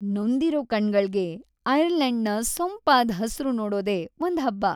ನೊಂದಿರೋ ಕಣ್ಗಳ್ಗೆ ಐರ್ಲೆಂಡ್ನ ಸೊಂಪಾದ್ ಹಸ್ರು ನೋಡೋದೇ ಒಂದ್‌ ಹಬ್ಬ.